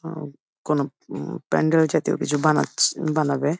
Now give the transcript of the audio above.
উম কোনো ও ও প্যান্ডেল জাতীয় কিছু বানাচ্ছে এ এ বানাবে ।